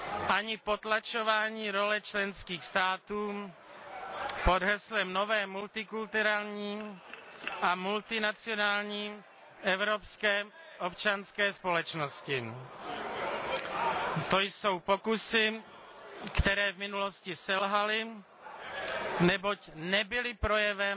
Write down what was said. ani potlačování role členských států pod heslem nové multikulturní a multinacionální evropské občanské společnosti. To jsou pokusy, které v minulosti selhaly, neboť nebyly projevem